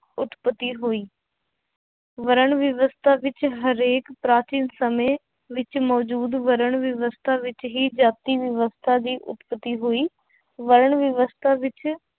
ਉਤਪਤੀ ਹੋਈ ਵਰਣ ਵਿਵਸਥਾ ਵਿੱਚ ਹਰੇਕ ਪ੍ਰਾਚੀਨ ਸਮੇਂ ਵਿੱਚ ਮੌਜੂਦ ਵਰਣ ਵਿਵਸਥਾ ਵਿੱਚ ਹੀ ਜਾਤੀ ਵਿਵਸਥਾ ਦੀ ਉਤਪਤੀ ਹੋਈ, ਵਰਣ ਵਿਵਸਥਾ ਵਿੱਚ